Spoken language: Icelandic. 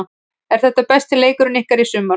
Er þetta besti leikurinn ykkar í sumar?